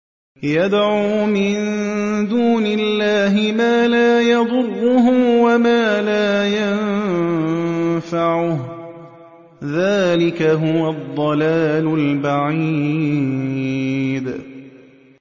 يَدْعُو مِن دُونِ اللَّهِ مَا لَا يَضُرُّهُ وَمَا لَا يَنفَعُهُ ۚ ذَٰلِكَ هُوَ الضَّلَالُ الْبَعِيدُ